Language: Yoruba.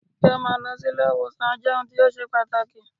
Kí á máa lọ si ilé ìwòsàn jẹ́ ohun tó ṣe pàtàkì.